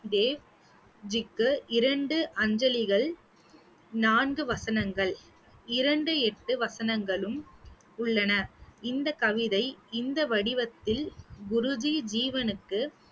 தேவ்ஜிக்கு இரண்டு அஞ்சலிகள் நான்கு வசனங்கள் இரண்டு எட்டு வசனங்களும் உள்ளன. இந்த கவிதை இந்த வடிவத்தில் குருஜி ஜீவனுக்கு